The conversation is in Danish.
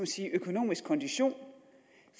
sige økonomisk kondition